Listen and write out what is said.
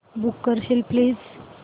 book करशील please